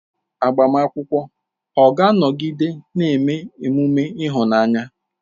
Agbamakwụkwọ ọ̀ ga-anọgide na-eme emume ịhụnanya?